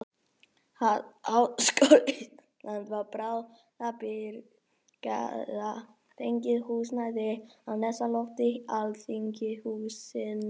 Háskóla Íslands var til bráðabirgða fengið húsnæði á neðsta lofti alþingishússins.